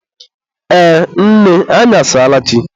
Ee, nne anyị asaala chi.